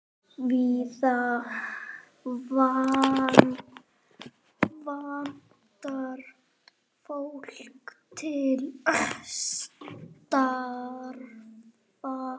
Víða vantar fólk til starfa.